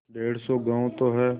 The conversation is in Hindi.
डेढ़ सौ गॉँव तो हैं